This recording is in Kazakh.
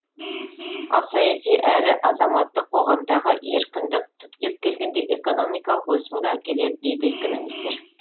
ал саяси әрі азаматтық қоғамдағы еркіндік түптеп келгенде экономикалық өсімге әкеледі дейді экономистер